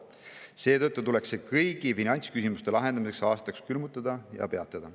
Seetõttu tuleks see kõigi finantsküsimuste lahendamiseks aastaks külmutada ja peatada.